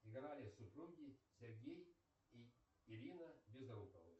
играли супруги сергей и ирина безруковы